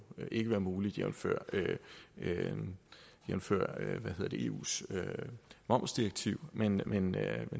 ikke være muligt jævnfør jævnfør eus momsdirektiv men